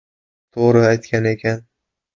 To‘g‘ri aytgan ekan.